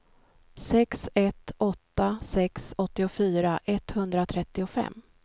sex ett åtta sex åttiofyra etthundratrettiofem